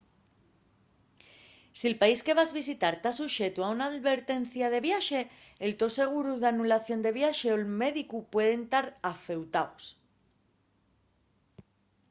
si’l país que vas visitar ta suxetu a una alvertencia de viaxe el to seguru d’anulación del viaxe o’l médicu pueden tar afeutaos